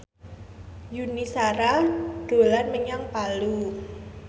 Yuni Shara dolan menyang Palu